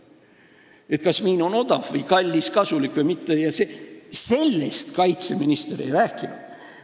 Sellest, kas miin on odav või kallis, kasulik või mitte, kaitseminister ei rääkinud.